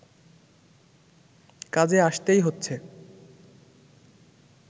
কাজে আসতেই হচ্ছে